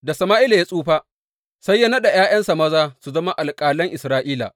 Da Sama’ila ya tsufa, sai ya naɗa ’ya’yansa maza su zama alƙalan Isra’ila.